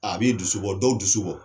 A b'e dusu bɔ dɔw dusu bɔ